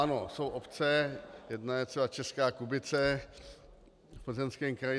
Ano jsou obce, jedna je třeba Česká Kubice v Plzeňském kraji.